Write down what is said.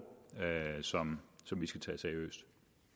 som vi skal tage seriøst